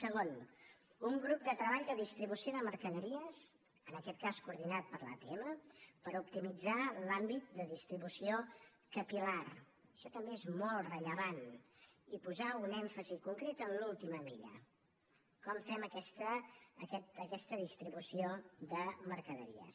segon un grup de treball de distribució de mercaderies en aquest cas coordinat per l’atm per optimitzar l’àmbit de distribució capil·lar això també és molt rellevant i posar un èmfasi concret en l’última milla com fem aquesta distribució de mercaderies